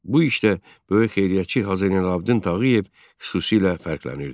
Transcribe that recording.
Bu işdə böyük xeyriyyətçi Hacı Zeynalabdin Tağıyev xüsusilə fərqlənirdi.